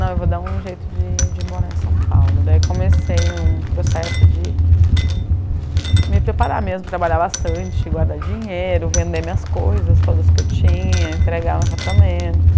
Não, eu vou dar um jeito de de morar em São Paulo Daí comecei um processo de me preparar mesmo, trabalhar bastante, guardar dinheiro, vender minhas coisas todas que eu tinha, entregar meu apartamento